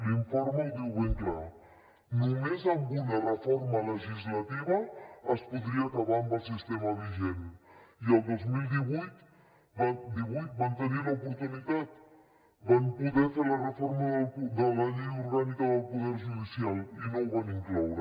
l’informe ho diu ben clar només amb una reforma legislativa es podria acabar amb el sistema vigent i el dos mil divuit van tenir l’oportunitat van poder fer la reforma de la llei orgànica del poder judicial i no ho van incloure